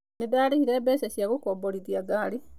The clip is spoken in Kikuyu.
Nĩ ndaarĩhire mbeca cia gũkomborithia ngari.